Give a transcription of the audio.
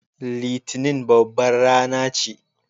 Litinin babbar rana ce.